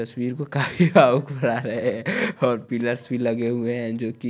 तस्वीर को काहे और पिलर्स भी लगे हुए है जो की--